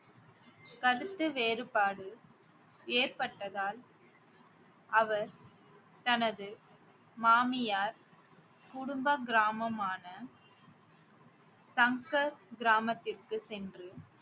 கருத்து வேறுபாடு ஏற்பட்டதால் அவர் தனது மாமியார் குடும்ப கிராமமான சங்கட் கிராமத்திற்கு சென்று